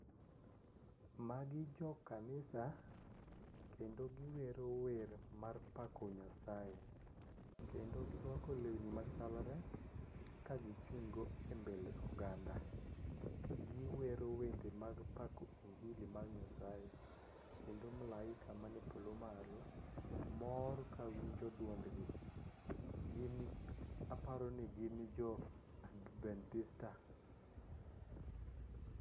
Magi jokanisa kendo giwero wer mar pako Nyasaye kendo girwako lewni machalre kagichung'go e mbele oganda, giwero wende mag pako injili mar Nyasaye kendo malaika man e polo malo mor kawinjo duondgi aparo ni gin jo adventista.